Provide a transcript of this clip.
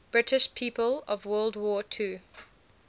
british people of world war ii